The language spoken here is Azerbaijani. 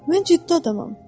Mən ciddi adamam.